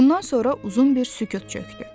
Bundan sonra uzun bir sükut çökdü.